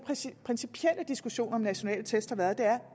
principielle diskussion om nationale test har været at